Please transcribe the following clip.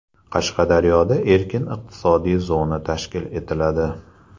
Qashqadaryoda erkin iqtisodiy zona tashkil etiladi.